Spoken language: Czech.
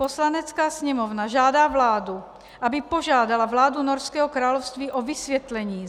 Poslanecká sněmovna žádá vládu, aby požádala vládu Norského království o vysvětlení